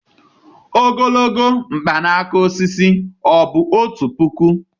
ogologo mkpanaka osisi, ọ̀ bụ otu puku